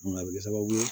a bɛ kɛ sababu ye